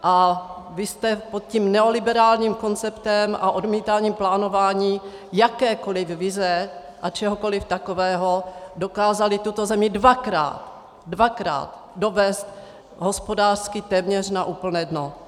A vy jste pod tím neoliberálním konceptem a odmítáním plánování jakékoliv vize a čehokoliv takového dokázali tuto zemi dvakrát, dvakrát dovést hospodářsky téměř na úplné dno.